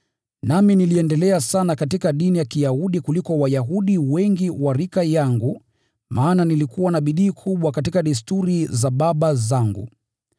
Nami niliendelea sana katika dini ya Kiyahudi kuliko Wayahudi wengi wa rika yangu maana nilijitahidi sana katika desturi za baba zangu.